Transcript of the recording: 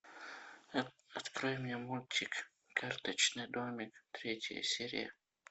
открой мне мультик карточный домик третья серия